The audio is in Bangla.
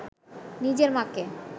নিজের মাকে